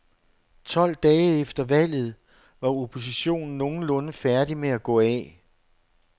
Tolv dage efter valget var oppositionen nogenlunde færdig med at gå af.